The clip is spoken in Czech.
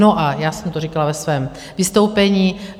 No, a já jsem to říkala ve svém vystoupení;